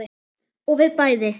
Og við bæði.